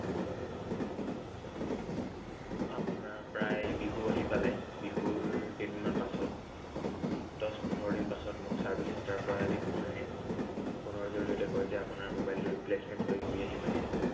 আপোনাৰ প্ৰায় বিহু আহি পালে। বিহুৰ কেইদিনমান পাছত, দহ পোন্ধৰদিন মানৰ পাছত মোক service centre ৰ পৰা এটি phone আহে। phone ৰ জড়িয়তে কয় যে আপোনাৰ mobile টো replacement হৈ ঘূৰি আহি পাইছে।